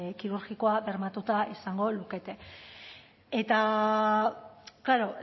kirurgikoa bermatuta izango lukete eta klaro